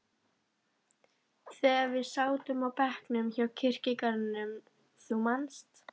þegar við sátum á bekknum hjá kirkjugarðinum, þú manst.